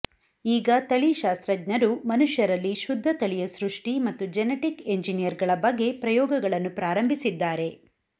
ಈಗ ತಳಿಶಾಸ್ತ್ರಜ್ಞರು ಮನುಷ್ಯರಲ್ಲಿ ಶುದ್ಧತಳಿಯ ಸೃಷ್ಟಿ ಮತ್ತು ಜೆನೆಟಿಕ್ ಇಂಜನಿಯರಿಂಗ್ಗಳ ಬಗ್ಗೆ ಪ್ರಯೋಗಗಳನ್ನು ಪ್ರಾರಂಭಿಸಿದ್ದಾರೆ